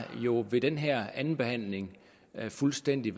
jo ved den her andenbehandling været fuldstændig